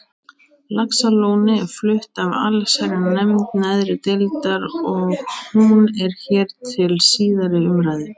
Laxalóni er flutt af allsherjarnefnd neðri deildar og hún er hér til síðari umræðu.